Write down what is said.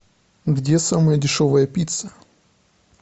где самая дешевая пицца